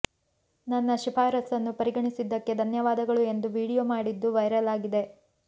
ನನ್ನ ಶಿಫಾರಸನ್ನು ಪರಿಗಣಿಸಿದ್ದಕ್ಕೆ ಧನ್ಯವಾದಗಳು ಎಂದು ವೀಡಿಯೋ ಮಾಡಿದ್ದು ವೈರಲ್ ಆಗಿದೆ